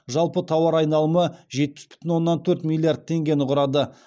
жалпы тауар айналымы жетпіс бүтін оннан төрт миллиард теңгені құрады